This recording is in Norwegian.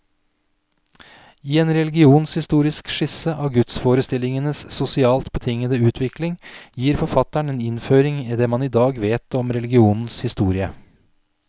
I en religionshistorisk skisse av gudsforestillingenes sosialt betingede utvikling, gir forfatteren en innføring i det man i dag vet om religionens historie.